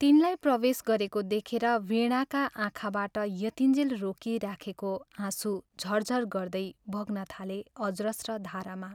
तिनलाई प्रवेश गरेको देखेर वीणाका आँखाबाट यतिञ्जेल रोकिराखेको आँसु झर्झर् गर्दै बग्न थाले अजस्र धारामा।